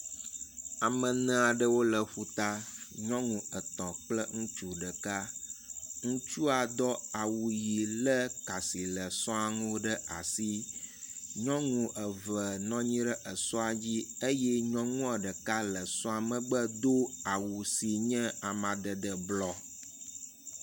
Ameneaɖewo le ƒuta, nyɔnu etɔ̃ kple ŋutsu ɖeka, ŋutsua dɔ awu yi le kà si sɔa ŋu ɖe asi, nyɔŋu eve